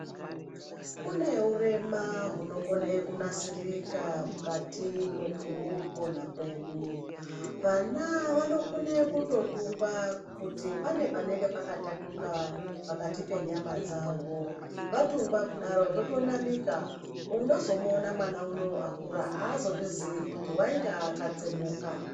Kune urema hunokone kunasirika mwukati mwekupona kwedu. Vana vanokone kutotungwa kuti pane panenge pakatatuka pakati penyama dzavo. Vatungwa kudaro zvotonamika. Unozomuona mwana unowu akura haazozviziyi kuti wainga akatsemuka.